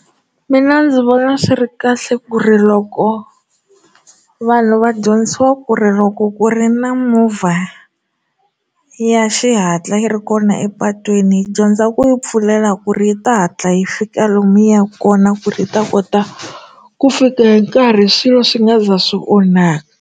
Mina ndzi vona swi ri kahle ku ri loko vanhu va dyondzisiwa ku ri loko ku ri na movha ya xihatla yi ri kona epatwini hi dyondza ku yi pfulela ku ri yi ta hatla yi fika lomu hi yaka kona ku ri hi ta kota ku fika hi nkarhi swilo swi nga za swi onhaka.